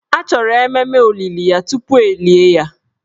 A chọrọ ememe olili ya tupu e lie ya